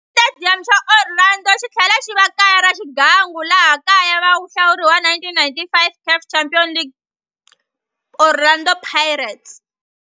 Xitediyamu xa Orlando xitlhela xiva kaya ra swigangu swa laha kaya na vahluri va 1995 CAF Champions League Orlando Pirates.